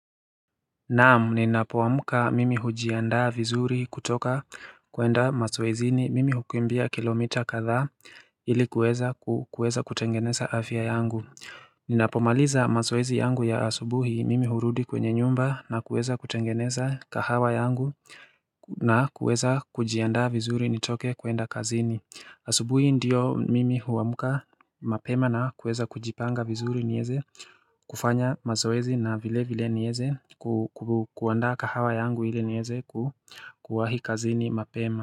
Naam ninapowmka mimi hujiandaa vizuri kutoka kuenda mazoezini mimi hukimbia kilomita kadhaa ilikuweza kuweza kutengeneza afya yangu Ninapomaliza mazoezi yangu ya asubuhi mimi hurudi kwenye nyumba na kuweza kutengeneza kahawa yangu na kuweza kujiandaa vizuri nitoke kuenda kazini asubuhi ndiyo mimi huamka mapema na kuweza kujipanga vizuri nieze kufanya mazoezi na vile vile nieze kuaanda kahawa yangu ili nieze kuwahi kazini mapema.